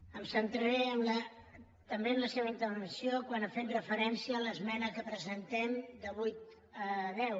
em centraré també en la seva intervenció quan ha fet referència a l’esmena que presentem de de vuit a deu